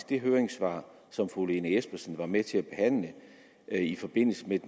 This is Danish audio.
det høringssvar som fru lene espersen var med til at behandle i forbindelse med